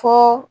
Fɔ